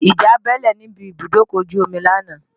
Ìjà bẹ́ẹ́lẹ̀ níbi ibùdókọ̀ ojú omi lánàá